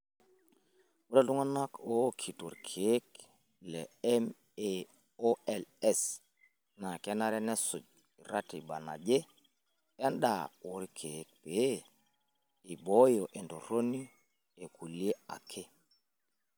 Ore iltungana ookito ilkeek le MAOIs naa kenare nesuj ratiba naje endaa olkeek pee eibooyo entorroni kulie ake.